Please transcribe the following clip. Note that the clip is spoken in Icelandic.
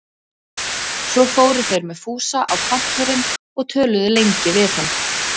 Svo fóru þeir með Fúsa á Kontórinn og töluðu lengi við hann.